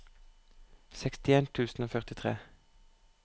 sekstien tusen og førtitre